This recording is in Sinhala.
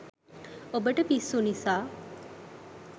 ඔබට පිස්සු නිසා